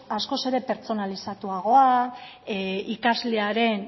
askoz ere pertsonalizatuagoa ikaslearen